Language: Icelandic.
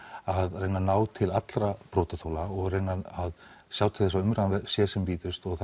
að reyna að ná til allra brotaþola og reyna að sjá til þess að umræðan sé sem víðust og